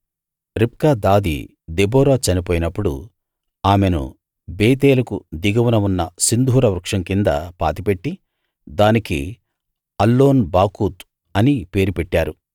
రిబ్కా దాది దెబోరా చనిపోయినప్పుడు ఆమెను బేతేలుకు దిగువన ఉన్న సింధూర వృక్షం కింద పాతిపెట్టి దానికి అల్లోన్ బాకూత్‌ అనే పేరు పెట్టారు